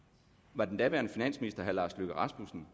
var den daværende finansminister lars løkke rasmussen